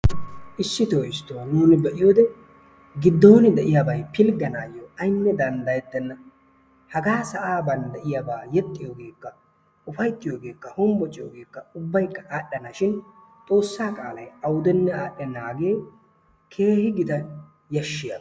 Issitoo issitoo nuuni be'iyoode giddon de'iyaabay pilgganawu aynne danddayettena. Hagaa sa'aa bollan de'iyaabaa yeexxiyoorikka ufayttiiyogekka honbocciyoogekka ubbaykka adhdhana shin xoossaa qaalaay awudenne adhdhenaagee keehi gita yashshiyaaba.